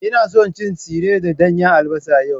Ina son cin tsire da danyen albasa yau.